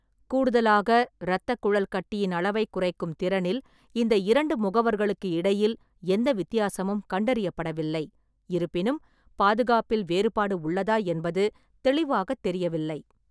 கூடுதலாக, இரத்தக்குழல் கட்டியின் அளவைக் குறைக்கும் திறனில் இந்த இரண்டு முகவர்களுக்கு இடையில் எந்த வித்தியாசமும் கண்டறியப்படவில்லை; இருப்பினும், பாதுகாப்பில் வேறுபாடு உள்ளதா என்பது தெளிவாகத் தெரியவில்லை.